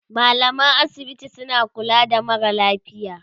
mallaman asibiti suna kula da marasa lafiya